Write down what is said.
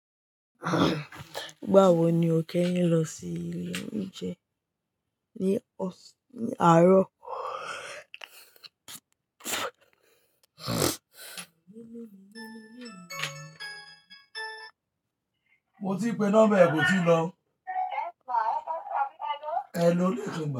Igawo ni o ke yin lọ sí ilé oúnjẹ ní ọs-- ní àárọ̀? Mo ti pè number ẹ, kò ti ń lọ. Yes ma, hello. E loilekun mi.